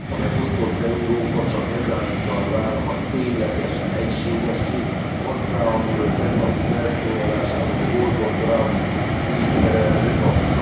A megosztott Európa csak ezáltal válhat ténylegesen egységessé, azzá, amiről tegnapi felszólalásában Gordon Brown miniszterelnök a